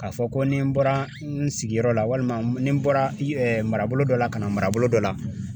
K'a fɔ ko ni n bɔra n sigiyɔrɔ la walima ni n bɔra mara dɔ la ka na marabolo dɔ la